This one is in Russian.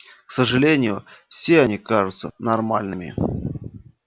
к сожалению все они кажутся нормальными